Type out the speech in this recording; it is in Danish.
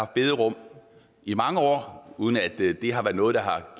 bederum i mange år uden at det har været noget der har